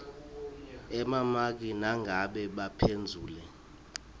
emamaki nangabe baphendvule